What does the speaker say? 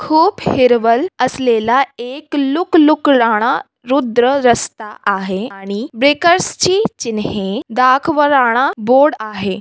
खूप हीरवल असलेला एक लुकलुक लाना रुद्र रास्ता आहे आणि वेहिकल्सची चिन्हे दाखवराना बोर्ड आहे.